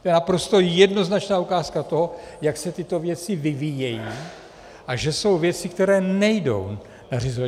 To je naprosto jednoznačná ukázka toho, jak se tyto věci vyvíjejí a že jsou věci, které nejdou nařizovat.